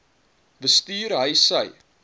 bestuur hy sy